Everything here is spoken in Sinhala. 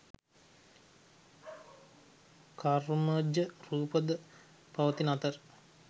කර්මජ රූප ද පවතින අතර